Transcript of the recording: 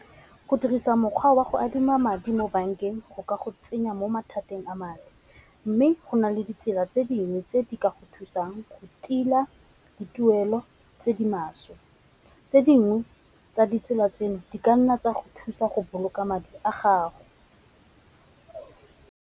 Go dirisa mokgwa wa go adima madi mo bankeng go ka go tsenya mo mathateng a Madi, mme go na le ditsela tse dingwe tse di ka go thusang go tila dituelo tse di maswe, tse dingwe tsa ditsela tseno di kanna tsa go thusa go boloka madi a gago.